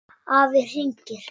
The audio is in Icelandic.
Afi hringir